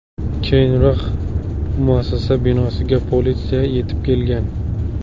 Keyinroq muassasa binosiga politsiya yetib kelgan.